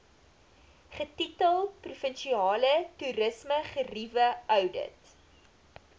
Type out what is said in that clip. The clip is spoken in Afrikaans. getitel provinsiale toerismegerieweoudit